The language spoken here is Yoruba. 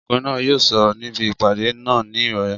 Ọkùnrin náà yóò sọ̀rọ̀ níbi ìpàdé náà ní ìrọ̀lẹ́